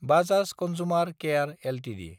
Bajaj consumer care Ltd